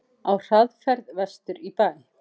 Á hraðferð vestur í bæ.